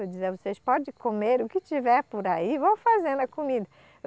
Eu dizia, vocês podem comer o que tiver por aí e vão fazendo a comida.